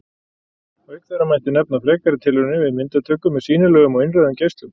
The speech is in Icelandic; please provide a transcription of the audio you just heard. Auk þeirra mætti nefna frekari tilraunir við myndatöku með sýnilegum og innrauðum geislum.